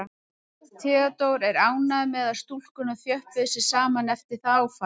Theodór er ánægður með að stúlkurnar þjöppuðu sig saman eftir það áfall.